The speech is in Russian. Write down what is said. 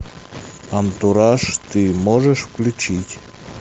антураж ты можешь включить